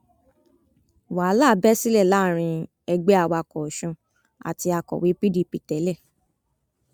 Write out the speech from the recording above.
wàhálà bẹ sílẹ láàrin ẹgbẹ awakọ ọsun àti akọwé pdp tẹlẹ